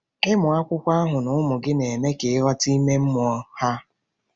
Ịmụ akwụkwọ ahụ na ụmụ gị na-eme ka “ịghọta ime mmụọ” ha.